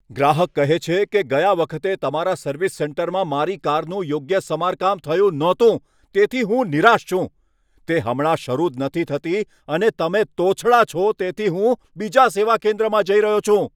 ગ્રાહક કહે છે કે, છેલ્લી વખત તમારા સર્વિસ સેન્ટરમાં મારી કારનું યોગ્ય સમારકામ થયું નહોતું તેથી હું નિરાશ છું, તે હમણાં શરુ જ નથી થતી અને તમે તોછડા છો, તેથી હું બીજા સેવા કેન્દ્રમાં જઈ રહ્યો છું.